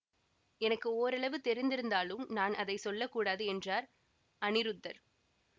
எனக்கு ஓரளவு தெரிந்திருந்தாலும் நான் அதை சொல்ல கூடாது என்றார் அநிருத்தர்